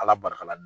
Ala barika la